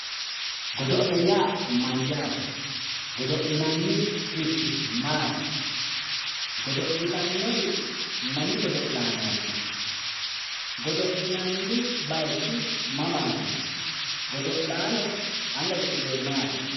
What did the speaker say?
Godo'le yaa mayyaate? Godo'linannirichi maati? Godo'litannori mami godo'laanooti? Godo'linanni bayichi mamaati? Godo'laano anga cu'midhiwori maati?